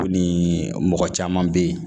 Ko nin mɔgɔ caman bɛ yen